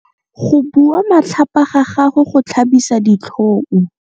Go bua matlhapa ga gagwe go tlhabisa ditlhong.